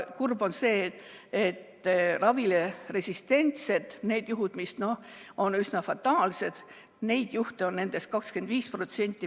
Kurb on see, et ravile resistentseid juhte, mis on üsna fataalsed, on nendest 25%.